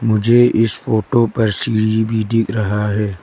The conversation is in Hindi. मुझे इस फोटो पर सीढ़ी भी दिख रहा है।